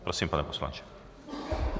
Prosím, pane poslanče.